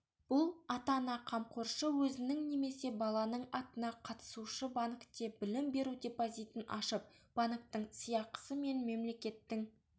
бұл ата-ана қамқоршы өзінің немесе баланың атына қатысушы-банкте білім беру депозитін ашып банктің сыйақысы мен мемлекеттің